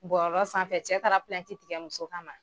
Bɔlɔlɔ sanfɛ, cɛ taala tigɛ muso ka ma